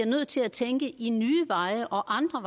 nødt til at tænke i nye og andre